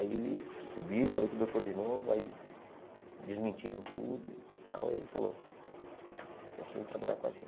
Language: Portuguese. Aí eu subi, falei com o doutor de novo, aí desmentiram tudo e tal, aí ele falou, então você vem trabalhar com a gente.